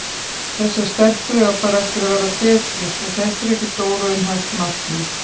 Þessar stelpur eiga bara eftir að verða betri svo þetta er ekkert óraunhæft markmið.